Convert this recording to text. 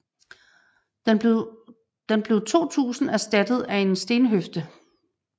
Den blev 2000 erstattet af en stenhøfde